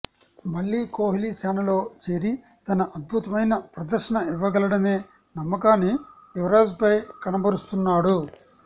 మళ్లీ కోహ్లీ సేనలో చేరి తన అద్భుతమైన ప్రదర్శన ఇవ్వగలడనే నమ్మకాన్ని యువరాజ్పై కనబరుస్తున్నాడు